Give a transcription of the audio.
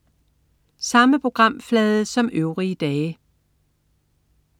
Samme programflade som øvrige dage